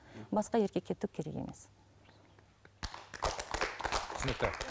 басқа еркекке түк керек емес түсінікті